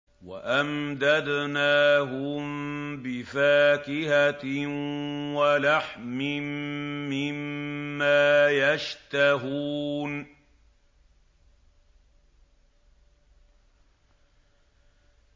وَأَمْدَدْنَاهُم بِفَاكِهَةٍ وَلَحْمٍ مِّمَّا يَشْتَهُونَ